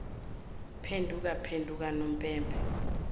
phenduka phenduka unompempe